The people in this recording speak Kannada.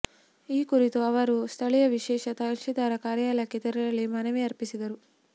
ಈ ಕುರಿತು ಅವರು ಸ್ಥಳೀಯ ವಿಶೇಷ ತಹಶೀಲ್ದಾರ ಕಾರ್ಯಾಲಯಕ್ಕೆ ತೆರಳಿ ಮನವಿ ಅರ್ಪಿಸಿದರು